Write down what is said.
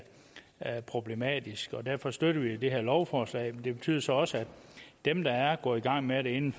er problematisk og derfor støtter vi det her lovforslag det betyder så også at dem der er gået i gang med det inden